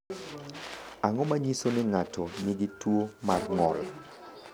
Ang’o ma nyiso ni ng’ato nigi tuwo mar ng’ol?